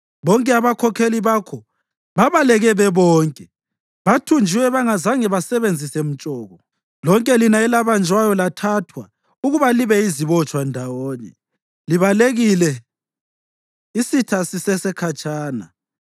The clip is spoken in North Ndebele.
Bonke abakhokheli bakho babaleke bebonke, bathunjiwe bengazange basebenzise mtshoko. Lonke lina elabanjwayo lathathwa ukuba libe yizibotshwa ndawonye, libalekile isitha sisesekhatshana.